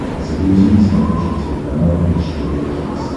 загрузи на смотрешке телеканал бридж тв хитс